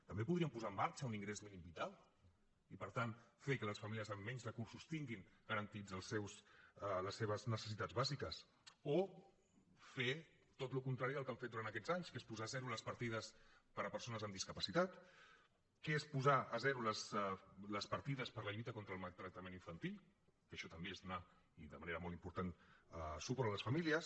també podrien posar en marxa un ingrés mínim vital i per tant fer que les famílies amb menys recursos tinguin garantides les seves necessitats bàsiques o fer tot el contrari del que han fet durant aquests anys que és posar a zero les partides per a persones amb discapacitat que és posar a zero les partides per a la lluita contra el maltractament infantil que això també és donar i de manera molt important suport a les famílies